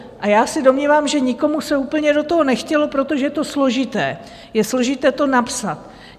A já se domnívám, že nikomu se úplně do toho nechtělo, protože je to složité, je složité to napsat.